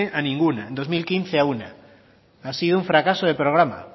a ninguna en dos mil quince a una ha sido un fracaso de programa